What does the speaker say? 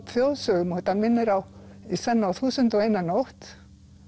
þjóðsögum og þetta minnir í senn á þúsund og eina nótt